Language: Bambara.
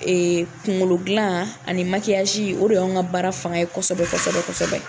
Ee kunkolodilan ani o de y'an ka baara fanga ye kosɛbɛ kosɛbɛ kosɛbɛ